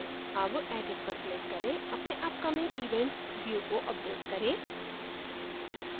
अब edit पर click करें अपने upcoming events view को अपडेट करें